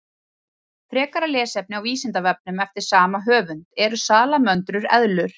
Frekara lesefni á Vísindavefnum eftir sama höfund: Eru salamöndrur eðlur?